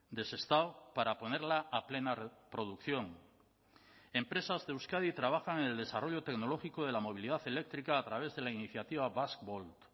de sestao para ponerla a plena producción empresas de euskadi trabajan en el desarrollo tecnológico de la movilidad eléctrica a través de la iniciativa basque volt